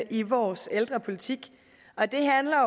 i vores ældrepolitik